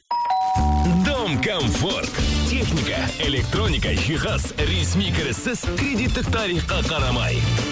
дом комфорт техника электроника жихаз ресми кіріссіз кредиттік тарифқа қарамай